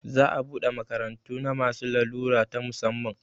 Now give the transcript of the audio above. Za a buɗe makarantu na masu larura ta musamman